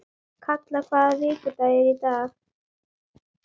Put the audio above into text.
Kalla, hvaða vikudagur er í dag?